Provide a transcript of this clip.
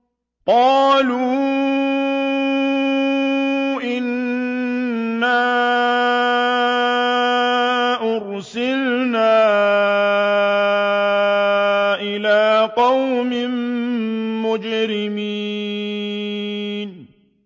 قَالُوا إِنَّا أُرْسِلْنَا إِلَىٰ قَوْمٍ مُّجْرِمِينَ